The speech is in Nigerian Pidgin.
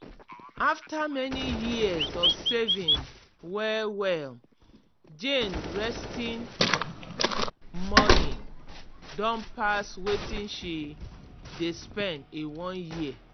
after many years of saving well-well jane resting money don pass wetin she dey spend in one year.